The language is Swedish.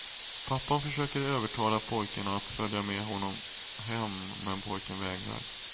Pappan försöker övertala pojken att följa med honom hem men pojken vägrar.